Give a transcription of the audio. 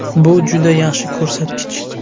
Bu juda yaxshi ko‘rsatkich.